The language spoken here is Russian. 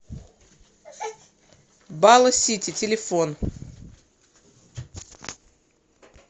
бала сити телефон